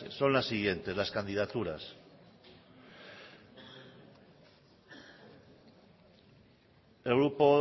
son las siguientes las candidaturas el grupo